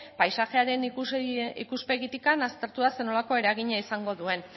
paisaiaren ikuspegitik aztertu da zer nolako eragina izango duen